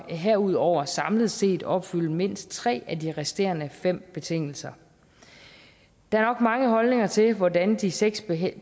herudover samlet set opfylde mindst tre af de resterende fem betingelser der er nok mange holdninger til hvordan de seks